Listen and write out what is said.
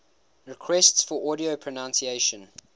requests for audio pronunciation